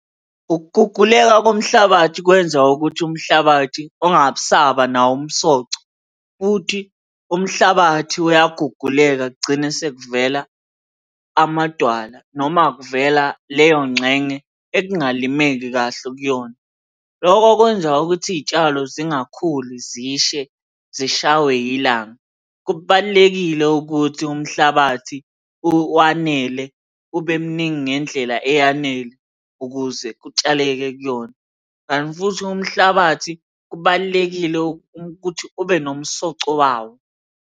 Ukuguguleka komhlabathi kwenza ukuthi umhlabathi ungabe usaba nawo umsoco, futhi umhlabathi uyaguguleka kugcine sekuvela amadwala noma kuvela leyo ngxenye ekungalimeki kahle kuyona. Lokho kwenza ukuthi iy'tshalo zingakhuli zishe zishaywe ilanga. Kubalulekile ukuthi umhlabathi wanele, ube muningi ngendlela eyanele ukuze kutshaleke kuyona, kanti futhi umhlabathi kubalulekile ukuthi ube nomsoco wawo.